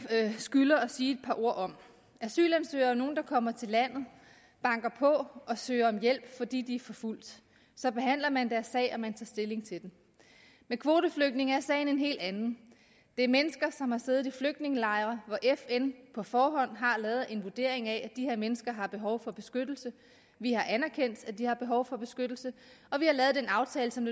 skylder at sige et par ord om asylansøgere er nogle der kommer til landet banker på og søger om hjælp fordi de er forfulgt så behandler man deres sag og man tager stilling til det med kvoteflygtninge er sagen en helt anden det er mennesker som har siddet i flygtningelejre hvor fn på forhånd har lavet en vurdering af at de mennesker har behov for beskyttelse vi har anerkendt at de har behov for beskyttelse og vi har lavet den aftale som